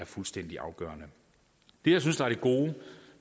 fuldstændig afgørende det jeg synes er det gode